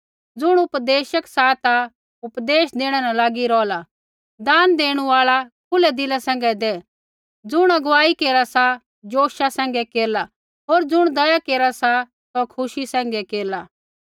ज़ुण उपदेशक सा सौ उपदेश देणै न लागी रौहला दान देणु आल़ा खुलै दिला सैंघै दै ज़ुण अगुवाई केरा सा जोशा सैंघै केरला होर ज़ुण दया केरा सा सौ खुशी सैंघै केरला